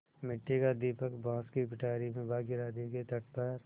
मिट्टी का दीपक बाँस की पिटारी में भागीरथी के तट पर